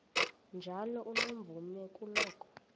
njalo unomvume kuloko